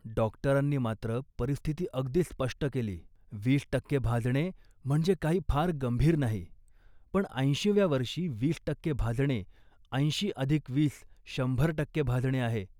डॉक्टरांनी मात्र परिस्थिती अगदी स्पष्ट केली. "वीस टक्के भाजणे, म्हणजे काही फार गंभीर नाही, पण ऐंशीव्या वर्षी वीस टक्के भाजणे ऐंशी अधिक वीस, शंभर टक्के भाजणे आहे